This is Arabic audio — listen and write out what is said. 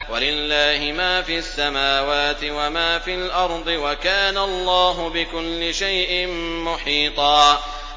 وَلِلَّهِ مَا فِي السَّمَاوَاتِ وَمَا فِي الْأَرْضِ ۚ وَكَانَ اللَّهُ بِكُلِّ شَيْءٍ مُّحِيطًا